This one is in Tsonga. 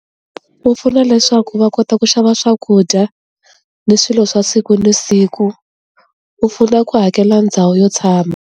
Ku pfuna leswaku va kota ku xava swakudya ni swilo swa siku na siku u pfuna ku hakela ndhawu yo tshama.